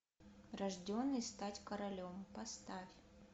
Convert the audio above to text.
рожденный стать королем поставь